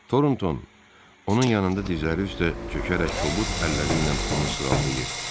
Torontoun onun yanında dizləri üstə çökərək kobud əlləri ilə onu sığallayırdı.